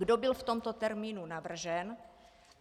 Kdo byl v tomto termínu navržen?